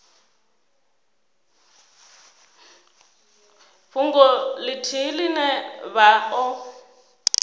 fhungo ithihi ine vha o